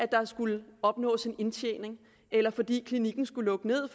der skulle opnås en indtjening eller fordi klinikken skulle lukke ned